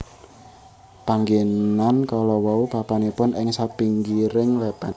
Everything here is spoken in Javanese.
Panggénan kalawau papanipun ing sapinggiring lèpèn